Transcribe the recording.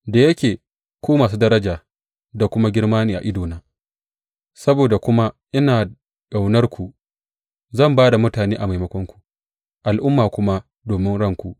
Da yake ku masu daraja da kuma girma ne a idona, saboda kuma ina ƙaunarku, zan ba da mutane a maimakonku, al’umma kuma domin ranku.